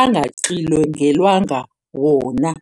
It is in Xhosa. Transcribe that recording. angaxilongelwanga wona.